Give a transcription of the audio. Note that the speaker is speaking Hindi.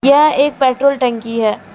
यह एक पेट्रोल टंकी है।